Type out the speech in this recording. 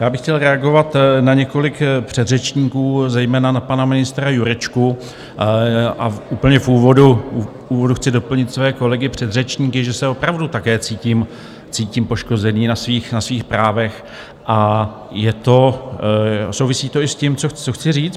Já bych chtěl reagovat na několik předřečníků, zejména na pana ministra Jurečku, a úplně v úvodu chci doplnit své kolegy předřečníky, že se opravdu také cítím poškozený na svých právech, a souvisí to i s tím, co chci říct.